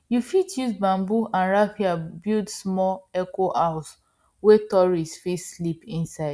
you fit use bamboo and raffia build small ecohouse wey tourists fit sleep inside